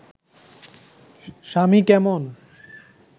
স্বামী কেমন